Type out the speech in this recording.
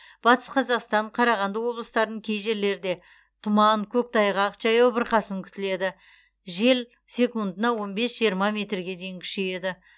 батыс қазақстан қарағанды облыстарын кей жерлерде тұман көктайғақ жаяу бұрқасын күтіледі жел секундына он бес жиырма метрге дейін күшейеді